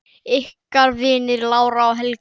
Ykkar vinir, Lára og Helgi.